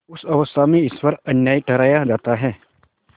उस अवस्था में ईश्वर अन्यायी ठहराया जाता है